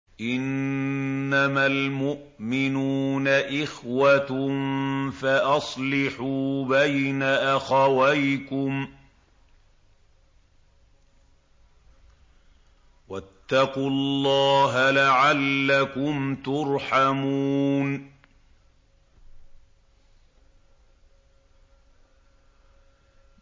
إِنَّمَا الْمُؤْمِنُونَ إِخْوَةٌ فَأَصْلِحُوا بَيْنَ أَخَوَيْكُمْ ۚ وَاتَّقُوا اللَّهَ لَعَلَّكُمْ تُرْحَمُونَ